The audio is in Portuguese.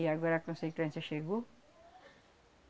E agora a consequência chegou.